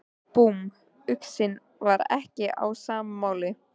Búmm, uxinn var ekki á sama máli.